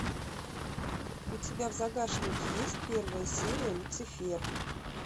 у тебя в загашнике есть первая серия люцифер